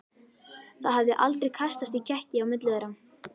Það hafði aldrei kastast í kekki á milli þeirra.